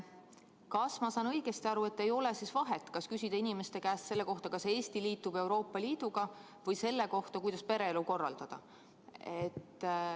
Kas ma saan õigesti aru, et ei ole vahet, kas küsida inimeste käest selle kohta, kas Eesti liitub Euroopa Liiduga, või selle kohta, kuidas pereelu korraldada.